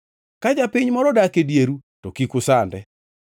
“ ‘Ka japiny moro odak e dieru, to kik usande.